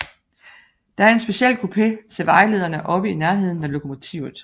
Der er en speciel kupé til vejlederne oppe i nærheden af lokomotivet